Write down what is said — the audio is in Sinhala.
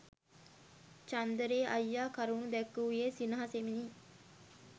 චන්දරේ අයියා කරුණු දැක්වූයේ සිනහසෙමිනි.